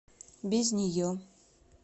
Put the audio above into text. без нее